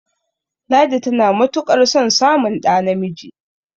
ladi tana matuƙ ar son samun ɗa namiji